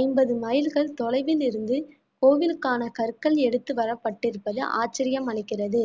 ஐம்பது மைல்கள் தொலைவில் இருந்து கோவிலுக்கான கற்கள் எடுத்து வரப்பட்டிருப்பது ஆச்சரியம் அளிக்கிறது